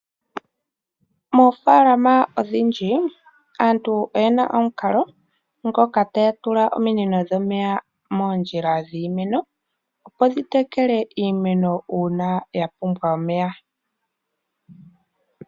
Moofalama odhindji, aantu oyena omukalo ngoka taya tula ominino dhomeya moondjilaa dhimeno opo dhi tekele iimeno uuna ya pumbwa omeya.